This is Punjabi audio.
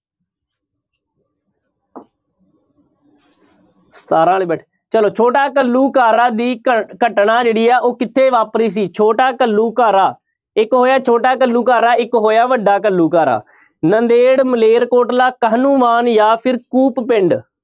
ਸਤਾਰਾਂ ਚਲੋ ਛੋਟਾ ਘੱਲੂਘਾਰਾ ਦੀ ਘ~ ਘਟਨਾ ਜਿਹੜੀ ਹੈ ਉਹ ਕਿੱਥੇ ਵਾਪਰੀ ਸੀ ਛੋਟਾ ਘੱਲੂਘਾਰਾ, ਇੱਕ ਹੋਇਆ ਛੋਟਾ ਘੱਲੂ ਘਾਰਾ, ਇੱਕ ਹੋਇਆ ਵੱਡਾ ਘੱਲੂਘਾਰਾ ਨੰਦੇੜ, ਮਲੇਰਕੋਟਲਾ, ਕਾਹਨੂੰਵਾਨ ਜਾਂ ਫਿਰ ਕੂਪ ਪਿੰਡ।